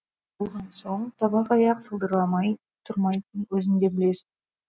үй болған соң табақ аяқ сылдырламай тұрмайтынын өзің де білесін